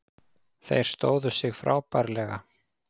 Þeir stóðu sig frábærlega